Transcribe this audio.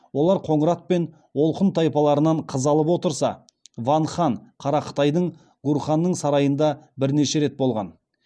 олар қоңырат пен олқұн тайпаларынан қыз алып отырса ван хан қара қытайдың гурханының сарайында бірнеше рет болған